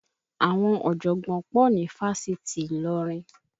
Àwọn ọ̀jọ̀gbọ́n pọ̀ ní Fáṣitì Ilorin